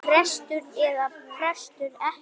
Prestur eða prestur ekki.